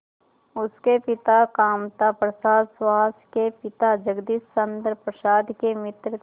उसके पिता कामता प्रसाद सुहास के पिता जगदीश चंद्र प्रसाद के मित्र थे